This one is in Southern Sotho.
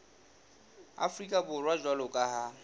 afrika borwa jwalo ka ha